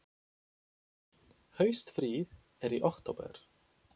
Haustfríið er í október.